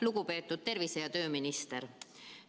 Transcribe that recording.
Lugupeetud tervise‑ ja tööminister!